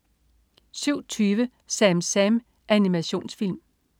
07.20 SamSam. Animationsfilm